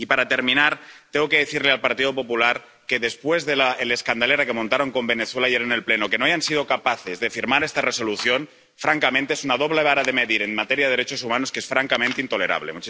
Y, para terminar, tengo que decirle al Partido Popular que, después de la escandalera que montaron con Venezuela ayer en el Pleno, que no hayan sido capaces de firmar esta Resolución, francamente, es una doble vara de medir en materia de derechos humanos que es francamente intolerable.